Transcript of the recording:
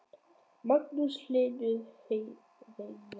Magnús Hlynur Hreiðarsson: Er þetta vatnið eða grænmetið?